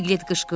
Piqlet qışqırdı.